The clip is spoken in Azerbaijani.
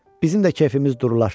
Bizim də kefimiz durular.